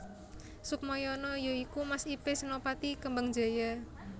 Sukmayana ya iku mas ipe Senopati Kembangjaya